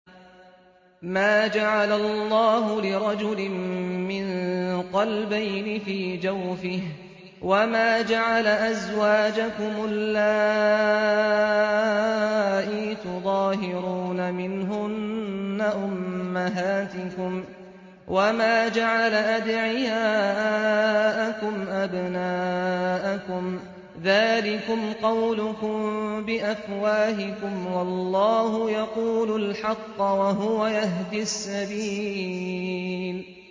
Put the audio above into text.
مَّا جَعَلَ اللَّهُ لِرَجُلٍ مِّن قَلْبَيْنِ فِي جَوْفِهِ ۚ وَمَا جَعَلَ أَزْوَاجَكُمُ اللَّائِي تُظَاهِرُونَ مِنْهُنَّ أُمَّهَاتِكُمْ ۚ وَمَا جَعَلَ أَدْعِيَاءَكُمْ أَبْنَاءَكُمْ ۚ ذَٰلِكُمْ قَوْلُكُم بِأَفْوَاهِكُمْ ۖ وَاللَّهُ يَقُولُ الْحَقَّ وَهُوَ يَهْدِي السَّبِيلَ